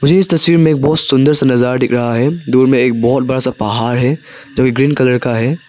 मुझे इस तस्वीर में एक बहुत सुंदर सा नजारा दिख रहा है दूर में एक बहुत बड़ा सा पाहाड़ है जो कि ग्रीन कलर का है।